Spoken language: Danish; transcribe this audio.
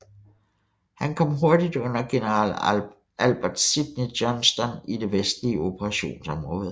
Han kom hurtigt under general Albert Sidney Johnston i det vestlige operationsområde